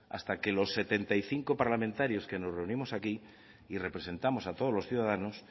hasta que los setenta y cinco parlamentarios que nos reunimos aquí y representamos a todos los ciudadanos